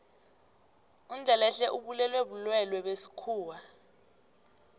undlelehle ubulewe bulwelwe besikhuwa